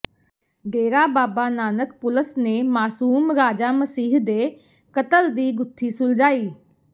ਡੇਰਾ Baba Nanak police ਨੇ ਮਾਸੂਮ ਰਾਜਾ ਮਸੀਹ ਦੇ ਕਤਲ ਦੀ ਗੁੱਥੀ ਸੁਲਝਾਈ